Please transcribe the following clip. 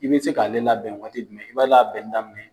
I bi se k'ale labɛn waati jumɛn i b'a labɛnni daminɛ